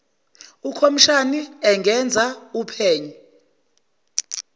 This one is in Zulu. ukhomishani engenza uphenyo